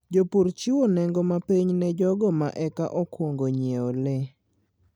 Jopur chiwo nengo mapiny ne jogo ma eka okwongo ng'iewo le.